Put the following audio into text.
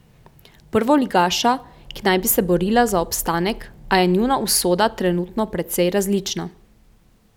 Prvoligaša, ki naj bi se borila za obstanek, a je njuna usoda trenutno precej različna.